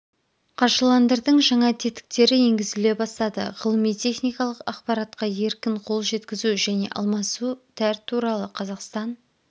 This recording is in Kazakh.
қаржыландырдың жаңа тетіктері енгізіле бастады ғылыми-техникалық ақпаратқа еркін қол жеткізу және алмасу тәр туралы қазақстан